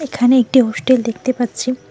এখানে একটি হোস্টেল দেখতে পাচ্ছি।